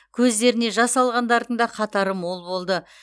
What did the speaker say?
көздеріне жас алғандардың да қатары мол болды